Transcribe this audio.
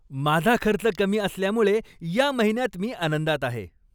माझा खर्च कमी असल्यामुळे या महिन्यात मी आनंदात आहे.